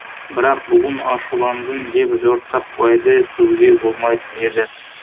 бірақ бүгін ашуландың деп жортақбайды сөгуге болмайтын еді